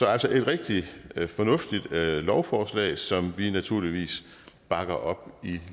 er altså et rigtig fornuftigt lovforslag som vi naturligvis bakker op i